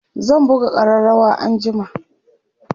zan buga ƙararawa anjima